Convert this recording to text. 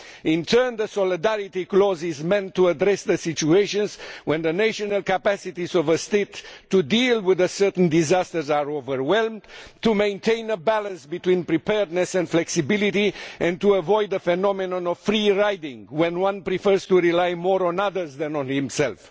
In turn, the solidarity clause is meant to address the situations where the national capacities of a state to deal with a certain disaster are overwhelmed, to maintain a balance between preparedness and flexibility and to avoid the phenomenon of free riding when one prefers to rely more on others than on oneself.